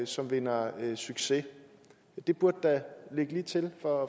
som vinder succes det burde da ligge lige til for